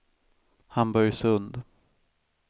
Hamburgsund